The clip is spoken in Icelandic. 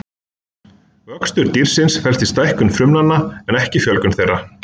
Vöxtur dýrsins felst í stækkun frumnanna en ekki fjölgun þeirra.